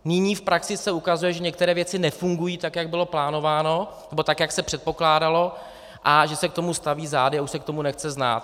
Nyní v praxi se ukazuje, že některé věci nefungují tak, jak bylo plánováno, nebo tak, jak se předpokládalo, a že se k tomu staví zády a už se k tomu nechce znát.